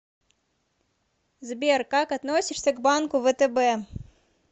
сбер как относишься к банку втб